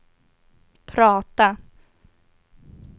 prata